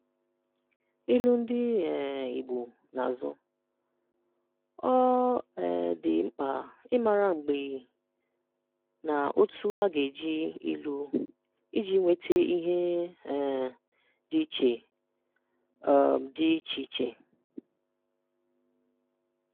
Ilu Ndị um Igbo n’azụ: Ọ um dị mkpa ịmara mgbe na òtù a ga-eji ilu iji nweta ihe um dị iche um dị iche iche.